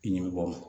I ɲɛ bɛ bɔ